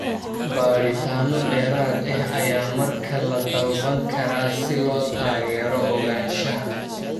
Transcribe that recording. Baadhitaano dheeraad ah ayaa markaa la dalban karaa si loo taageero ogaanshaha.